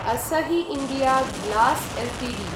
Asahi India Glass Ltd